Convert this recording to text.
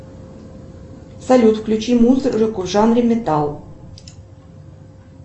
салют включи музыку в жанре металл